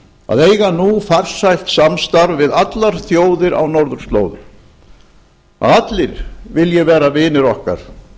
að eiga nú farsælt samstarf við allar þjóðir á norðurslóðum að allir vilji vera vinir okkar